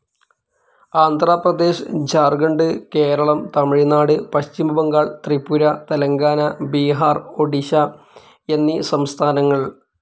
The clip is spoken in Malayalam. ആന്ധ്രാപ്രദേശ്, ജാർഖണ്ഡ്, കേരളം തമിഴ്നാട്, പശ്ചിമബംഗാൾ, ത്രിപുര, തെലങ്കാന, ബീഹാർ, ഒഡിഷ, എന്നീ സംസ്ഥാനങ്ങൾ.